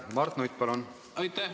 Mart Nutt, palun!